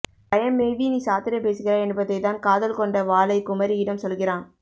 பயம் மேவி நீ சாத்திரம் பேசுகிறாய் என்பதை தான் காதல் கொண்ட வாலைக் குமரியிடம் சொல்கிறான்